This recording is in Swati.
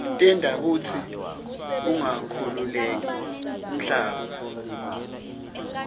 tenta kutsi ungakhukhuleki umhlaba